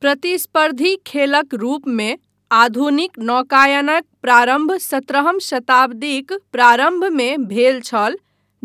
प्रतिस्पर्धी खेलक रूपमे आधुनिक नौकायनक प्रारम्भ सत्रहम शताब्दीक प्रारम्भमे भेल छल